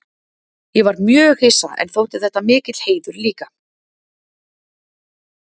Ég var mjög hissa en þótti þetta mikill heiður líka.